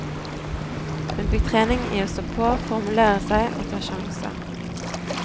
Hun fikk trening i å stå på, formulere seg og å ta sjanser.